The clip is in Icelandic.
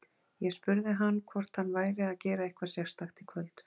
Ég spurði hann hvort hann væri að gera eitthvað sérstakt í kvöld.